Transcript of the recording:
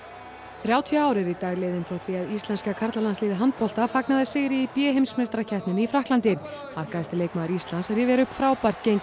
þrjátíu ár eru í dag frá því íslenska karlalandsliðið í handbolta fagnaði sigri í b heimsmeistarakeppninni í Frakklandi markahæsti leikmaður Íslands rifjar upp frábært gengi